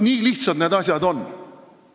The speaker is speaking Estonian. Nii lihtsad need asjad ongi.